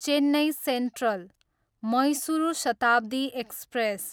Chennai central, Mysuru Shatabdi express